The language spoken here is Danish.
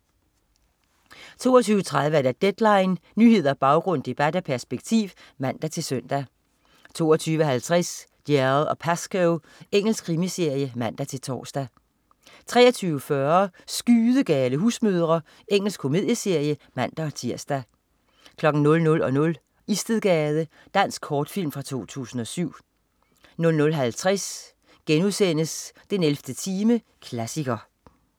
22.30 Deadline. Nyheder, baggrund, debat og perspektiv (man-søn) 22.50 Dalziel & Pascoe. Engelsk krimiserie (man-tors) 23.40 Skydegale husmødre. Engelsk komedieserie (man-tirs) 00.00 Istedgade. Dansk kortfilm fra 2007 00.50 den 11. time. Klassiker*